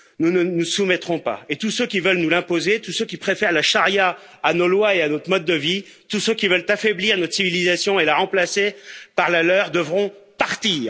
Nous ne nous soumettrons pas, et tous ceux qui veulent nous l'imposer, tous ceux qui préfèrent la charia à nos lois et à notre mode de vie, tous ceux qui veulent affaiblir notre civilisation et la remplacer par la leur devront partir.